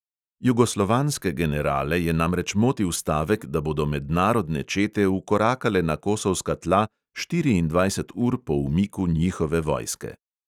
Jugoslovanske generale je namreč motil stavek, da bodo mednarodne čete vkorakale na kosovska tla štiriindvajset ur po umiku njihove vojske.